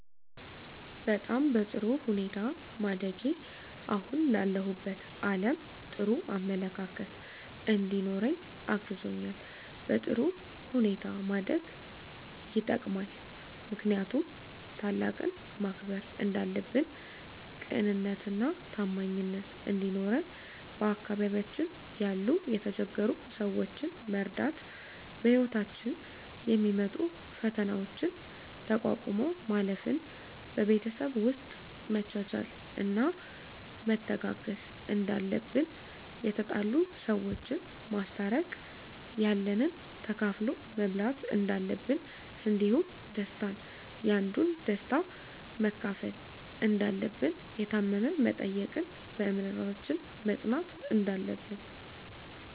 በጣም በጥሩ ሁኔታ ማደጌ አሁን ላለሁበት አለም ጥሩ አመለካከት እንዲኖረኝ አግዞኛል በጥሩ ሁኔታ ማደግ የጠቅማል ምክንያቱም ታላቅን ማክበር እንዳለብን ቅንነትና ታማኝነት እንዲኖረን በአካባቢያችን ያሉ የተቸገሩ ሰዎችን መርዳት በህይወታችን የሚመጡ ፈተናዎችን ተቋቁሞ ማለፍ ን በቤተሰብ ውስጥ መቻቻልና መተጋገዝ እንዳለብን የተጣሉ ሰዎችን ማስታረቅ ያለንን ተካፍሎ መብላት እንዳለብን እንዲሁም ደስታን ያንዱን ደስታ መካፈል እንዳለብን የታመመ መጠየቅን በእምነታችን መፅናት እንዳለብን